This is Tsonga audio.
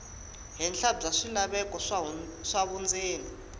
henhla bya swilaveko swa vundzeni